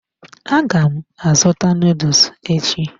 Aga m azụta noodles echi.